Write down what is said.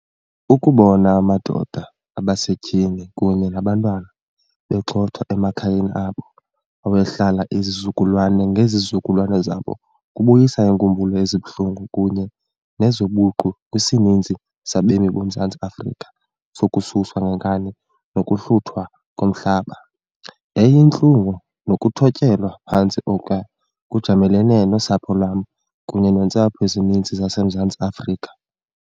Ukubona amadoda, abasetyhini kunye nabantwana begxothwa emakhayeni abo awayehlala izizukulwana ngezizukulwana zabo kubuyisa iinkumbulo ezibuhlungu kunye nezobuqu kwisininzi sabemi boMzantsi Afrika sokususwa ngenkani nokuhluthwa komhlaba. Yayiyintlungu nokuthotyelwa phantsi okwa kujamelene nosapho lwam, kunye neentsapho ezininzi zaseMzantsi Afrika.